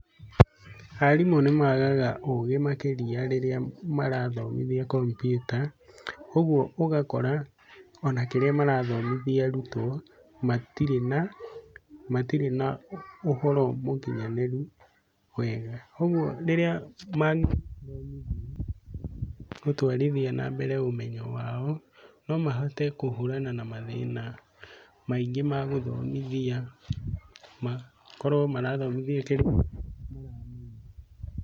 Arimũ nĩ maagaga ũgĩ makĩria rĩrĩa marathomithia kompyuta, ũguo ũgakora ona kĩrĩa marathomithia arutwo matirĩ na, matirĩ na ũhoro mũkinyanĩru wega. ũguo rĩrĩa ma- gũtwarithia na mbere ũmenyo wao, no mahote kũhũrana na mathĩna maingĩ ma gũthomithia makorwo marathomithia kĩndũ.